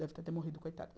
Deve ter morrido, coitado.